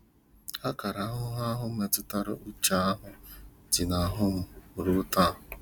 Akara ahụhụ mmetụta uche ahụ dị n'ahụ m ruo taa. ”